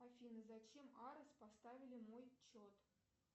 афина зачем арес поставили мой чет